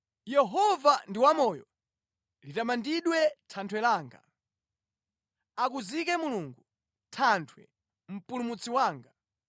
“Yehova ndi wamoyo! Litamandidwe Thanthwe langa. Akuzike Mulungu, Thanthwe, Mpulumutsi wanga!